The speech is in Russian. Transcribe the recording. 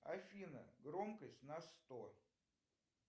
афина громкость на сто